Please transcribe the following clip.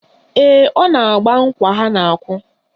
Ee, ọ na-agba nkwa ha na-akụ